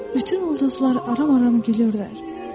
Bütün ulduzlar aram-aram gülürlər.